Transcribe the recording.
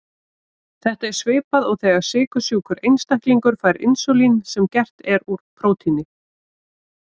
Þetta er svipað og þegar sykursjúkur einstaklingur fær insúlín sem er gert úr prótíni.